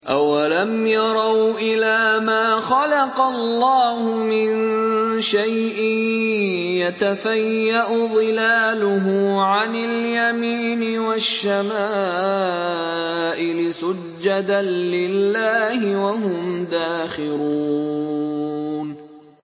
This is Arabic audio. أَوَلَمْ يَرَوْا إِلَىٰ مَا خَلَقَ اللَّهُ مِن شَيْءٍ يَتَفَيَّأُ ظِلَالُهُ عَنِ الْيَمِينِ وَالشَّمَائِلِ سُجَّدًا لِّلَّهِ وَهُمْ دَاخِرُونَ